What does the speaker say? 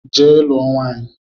Jee lụọ nwaanyị!